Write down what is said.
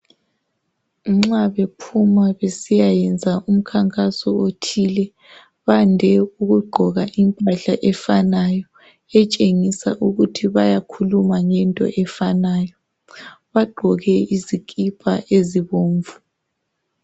Nxa bephuma besiyayenza umkhankaso othile bayande ukugqoka impahla efanayo etshengisa ukuthi bayakhuluma ngento efanayo bagqoke izikipa ezibomvu